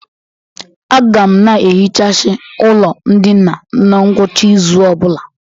Aga m na- ehichasi ụlọ ndịna na ngwụcha ịzụ ọ bụla.